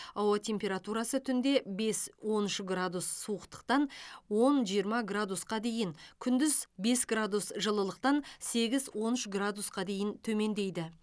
ауа температурасы түнде бес он үш градус суықтықтан он жиырма градусқа дейін күндіз бес градус жылылықтан сегіз он үш градусқа дейін төмендейді